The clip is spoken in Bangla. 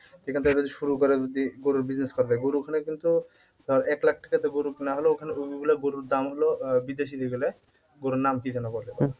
এখান থেকে যদি শুরু করে যদি গরুর business করা যায়, গরু ওখানে কিন্তু এক লাখ টাকা থেকে গরু না হলেও গরুর দাম হল গরুর নাম কি যেন বলে?